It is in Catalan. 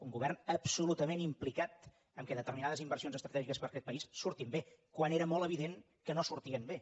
un govern absolutament implicat amb el fet que determinades inversions estratègiques per a aquest país surtin bé quan era molt evident que no sortien bé